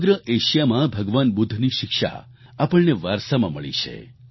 સમગ્ર એશિયામાં ભગવાન બુદ્ધની શિક્ષા આપણને વારસામાં મળી છે